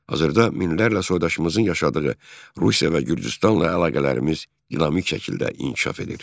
Hazırda minlərlə soydaşımızın yaşadığı Rusiya və Gürcüstanla əlaqələrimiz dinamik şəkildə inkişaf edir.